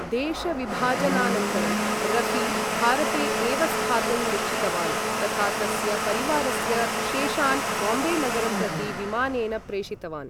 देशविभाजनानन्तरं, रफी भारते एव स्थातुं निश्चितवान्, तथा तस्य परिवारस्य शेषान् बाम्बेनगरं प्रति विमानेन प्रेषितवान्।